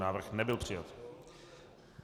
Návrh nebyl přijat.